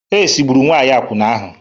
AIDS gburu nwanyị akwụna ahụ.